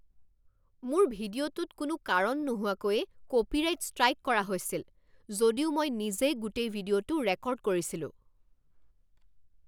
মোৰ ভিডিঅ'টোত কোনো কাৰণ নোহোৱাকৈয়ে কপিৰাইট ষ্ট্ৰাইক কৰা হৈছিল, যদিও মই নিজেই গোটেই ভিডিঅ'টো ৰেকৰ্ড কৰিছিলোঁ।